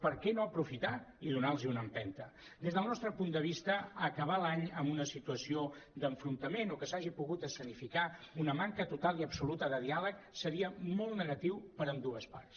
per què no aprofitar i do·nar·los una empenta des del nostre punt de vista acabar l’any amb una situació d’enfrontament o que s’hagi pogut escenificar una manca total i absoluta de diàleg seria molt negatiu per a ambdues parts